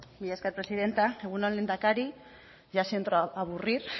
mila esker presidenta egun on lehendakari ya siento aburrir